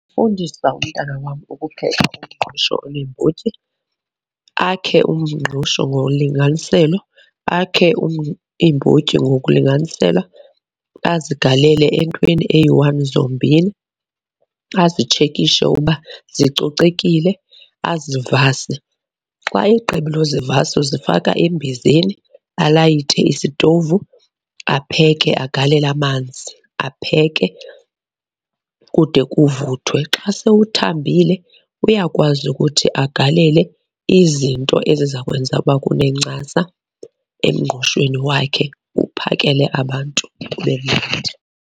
Fundisa umntwana wam ukupheka umngqusho oneembotyi. Akhe umngqusho ngolinganiselo, akhe iimbotyi ngokulinganisela azigalele entweni eyi-one zombini. Azitshekishe uba zicocekile, azivase. Xa egqibile akuzivasa uzifaka embizeni, alayite isitovu apheke. Agalele amanzi apheke kude kuvuthwe. Xa sewuthambile uyakwazi ukuthi agalele izinto eziza kwenza uba kunencasa emngqushweni wakhe, uwuphakele abantu .